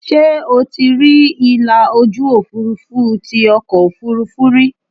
Ṣé o ti rí ìlà ojú Òfurufú tí ọkọ̀ Òfurufú rí?